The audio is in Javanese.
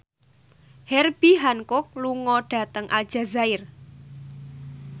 Herbie Hancock lunga dhateng Aljazair